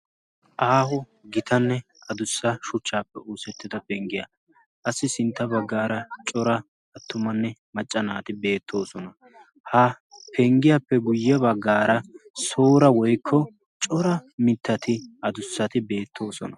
Aaho gitanne adussa shuchchaappe uussettida penggiyaa qassi sintta baggaara cora attumanne macca naati beettoosona. ha penggiyaappe guyye baggaara soora woikko cora mittati adussati beettoosona.